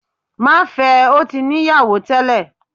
Má fẹ, o ti ni ìyáwó tẹlẹ!